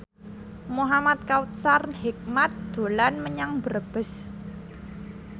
Muhamad Kautsar Hikmat dolan menyang Brebes